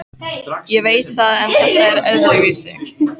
Ég veit það en þetta var öðruvísi.